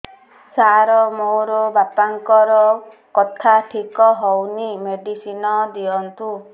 ସାର ମୋର ବାପାଙ୍କର କଥା ଠିକ ହଉନି ମେଡିସିନ ଦିଅନ୍ତୁ